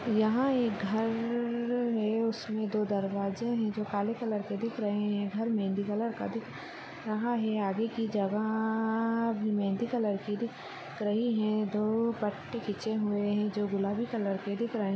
यहाँ एक घर है उसमे दो दरवाजे हैं जो काले कलर के दिख रहे हैं घर मेहंदी कलर का दिख रहा है आगे की जगह अभी मेहंदी कलर की दिख रहे दो पत्ते खींचे हुए हैं जो गुलाबी कलर के दिख रहे हैं।